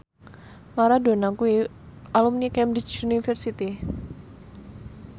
Maradona kuwi alumni Cambridge University